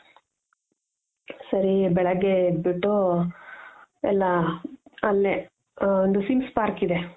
ಸರಿ ಬೆಳಗ್ಗೆ ಎದ್ದು ಬಿಟ್ಟು ಎಲ್ಲ ಅಲ್ಲೆ ಒಂದು swings park ಇದೆ .